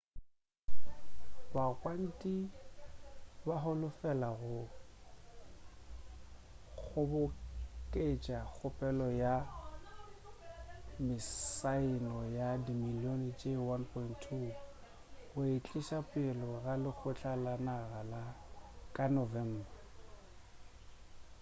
bagwanti ba holofela go kgoboketša kgopelo ya mesaeno ye dimilion tše 1.2 go e tliša pele ga lekgotla la naga ka november